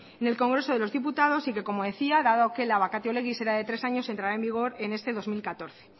en el congreso de los diputados y como decía dado que la vacatio legis era de tres años entrara en vigor en este dos mil catorce